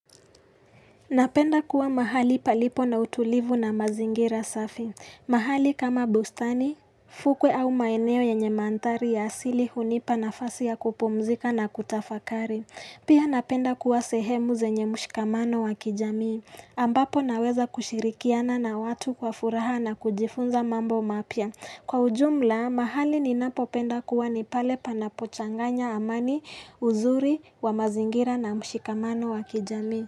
Napenda kuwa mahali palipo na utulivu na mazingira safi. Mahali kama bustani, fukwe au maeneo yenye mandhari ya asili hunipa nafasi ya kupumzika na kutafakari. Pia napenda kuwa sehemu zenye mshikamano wa kijamii. Ambapo naweza kushirikiana na watu kwa furaha na kujifunza mambo mapia. Kwa ujumla, mahali ninapopenda kuwa ni pale panapochanganya amani, uzuri, wa mazingira na mshikamano wa kijamii.